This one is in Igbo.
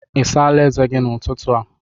Ị̀ sáála ézè gi n'ụtụtụ a?